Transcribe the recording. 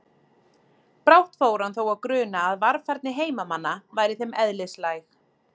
Brátt fór hann þó að gruna að varfærni heimamanna væri þeim eðlislæg.